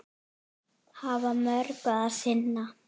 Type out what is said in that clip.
Hafa mörgu að sinna.